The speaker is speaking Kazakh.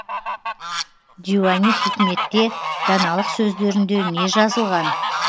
диуани хикметте даналық сөздерінде не жазылған